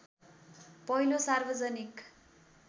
पहिलो सार्वजनिक